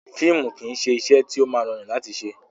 Fíìmù kìí ṣe iṣẹ́ tó máa rọrùn láti ṣe.